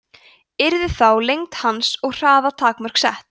yrðu þá lengd hans og hraða takmörk sett